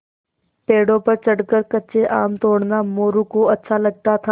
पेड़ों पर चढ़कर कच्चे आम तोड़ना मोरू को अच्छा लगता था